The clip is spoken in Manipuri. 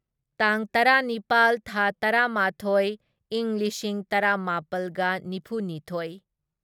ꯇꯥꯡ ꯇꯔꯥꯅꯤꯄꯥꯜ ꯊꯥ ꯇꯔꯥꯃꯥꯊꯣꯢ ꯢꯪ ꯂꯤꯁꯤꯡ ꯇꯔꯥꯃꯥꯄꯜꯒ ꯅꯤꯐꯨꯅꯤꯊꯣꯢ